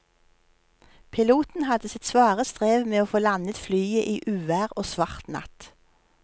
Piloten hadde sitt svare strev med å få landet flyet i uvær og svart natt.